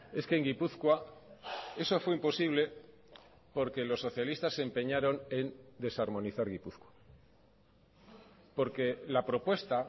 es que en gipuzkoa eso fue imposible porque los socialistas se empeñaron en desarmonizar gipuzkoa porque la propuesta